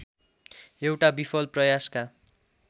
एउटा विफल प्रयासका